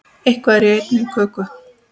Eitthvað er í einni köku